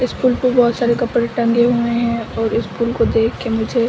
इस पुल पे बहुत सारे कपड़े टंगे हुए है और इस पुल को देख के मुझे --